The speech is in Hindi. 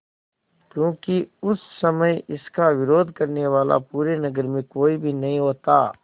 क्योंकि उस समय इसका विरोध करने वाला पूरे नगर में कोई भी नहीं होता